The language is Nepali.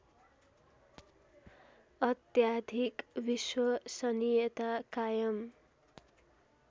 अत्याधिक विश्वसनियता कायम